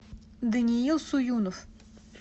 даниил суюнов